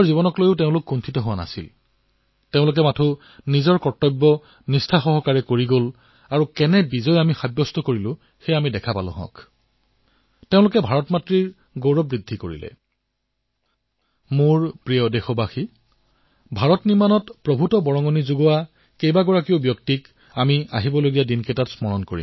মোৰ মৰমৰ দেশবাসীসকল আগন্তুক কেইটামান দিনত আমি বহু মহান লোকক স্মৰণ কৰিম যিয়ে ভাৰত নিৰ্মাণলৈ অতুলনীয় অৱদান আগবঢ়াইছে